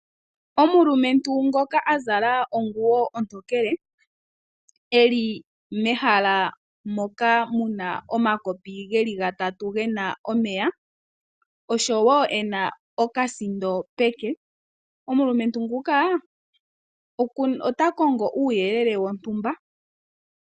Omulumentu ngoka azalaonguwo ontokele eli mehala moka muna omakopi geli gatatu gena omeya, osho woo ena okasindo peke omulumentu nguka ota kongo uuyelele wontumba.